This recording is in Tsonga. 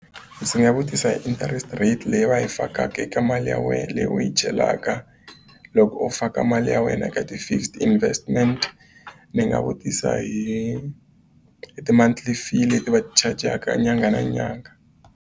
Ndzi nga vutisa hi interest rate leyi va yi fakaka eka mali ya wena leyi u yi chelaka loko u faka mali ya wena eka ti-fixed investment ndzi nga vutisa hi ti-monthly fee leti va ti chajaka nyangha na nyangha.